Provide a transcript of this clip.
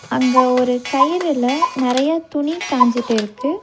அங்க ஒரு கயிறுல நெறைய துணி காஞ்சிட்டு இருக்கு.